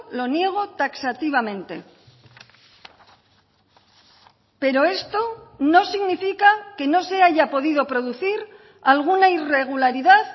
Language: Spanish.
lo niego taxativamente pero esto no significa que no se haya podido producir alguna irregularidad